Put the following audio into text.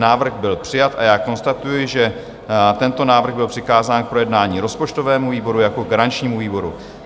Návrh byl přijat a já konstatuji, že tento návrh byl přikázán k projednání rozpočtovému výboru jako garančnímu výboru.